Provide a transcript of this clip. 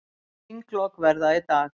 Þinglok verða í dag.